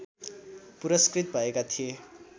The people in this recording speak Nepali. पुरस्कृत भएका थिए